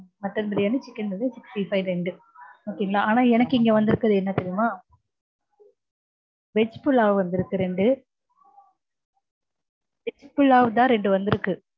mutton biryani, chicken biryani, sixty five ரெண்டு okay ங்களா ஆனா எனக்கு இங்க வந்திருக்கறது என்ன தெரியுமா? veg pulao வந்திருக்கு ரெண்டு. veg pulao தா ரெண்டு வந்திருக்கு.